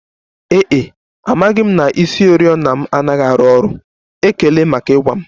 Ee e, amaghị m na isioriọna m anaghị arụ ọrụ, ekele maka ịgwa m